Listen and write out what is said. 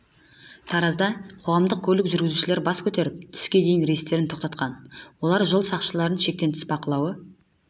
таразда қоғамдық көлік жүргізушілері бас көтеріп түске дейін рейстерін тоқтатқан олар жол сақшыларының шектен тыс бақылауы